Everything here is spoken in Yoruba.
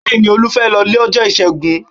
Bẹẹ̀ni, Olú fẹ́ lọ lọ́jọ́ Ìṣẹ́gun.